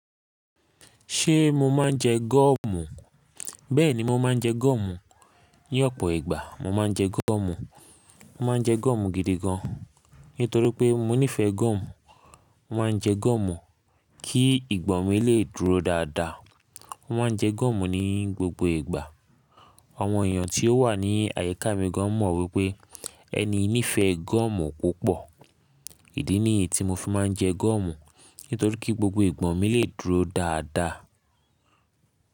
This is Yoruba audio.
Ṣé mo máa ń jẹ gúọ́mù? Bẹ́ẹ̀ni, mo máa ń jẹ gúọ́mù. Ni ọ̀pọ̀ ìgbà, mo máa ń jẹ gúọ́mù. Mo máa ń jẹ gúọ́mù gidi gan, nítorí pé mo nífẹ̀ẹ́ gúọ́mù. Mo máa ń jẹ gúọ́mù kí ìgbọ̀ mi lè dúró dáadáa. Mo máa ń jẹ gúọ́mù ní gbogbo ìgbà. Àwọn èèyàn tí ó wà ní àyíká mi gan mọ̀ wípé ẹni í nífẹ̀ẹ́ gúọ́mù púpọ̀. Idí ni é tí mo fi máa ń jẹ gúọ́mù, nítorí kí gbogbo ìgbọ̀n mi lè dúró dáadáa.